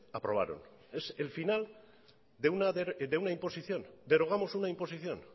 aprobaron es el final de una imposición derogamos una imposición